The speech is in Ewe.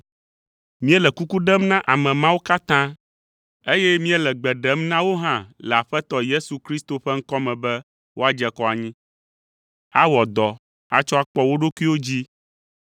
Míele kuku ɖem na ame mawo katã, eye míele gbe ɖem na wo hã le Aƒetɔ Yesu Kristo ƒe ŋkɔ me be woadze kɔ anyi, awɔ dɔ atsɔ akpɔ wo ɖokuiwo dzii.